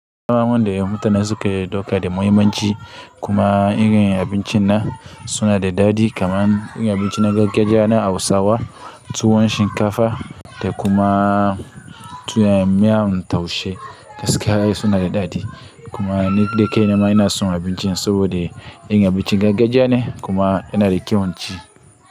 Gama wanda ya yi mata na suka yi ɗauka da muhimmanci kuma irin abincin nan suna da daɗi kamar in abinci na gargajiya na Hausawa, tuwon shinkafa da kuma tuwon miyan taushe gaskiya suna da daɗi. Kuma ni da kai na ma ina son abincin saboda in abincin gargajiya ne kuma yana da kyau inci.